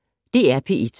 DR P1